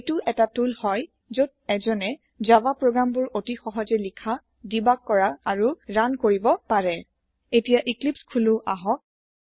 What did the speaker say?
এইটো এটা টুল হয় যত এজনে জাভা প্ৰোগ্ৰামবোৰ অতি সহজে লিখা ডিবাগ কৰা আৰু ৰান কৰিব পাৰে এতিয়া ইক্লিপ্চ খোলো আহক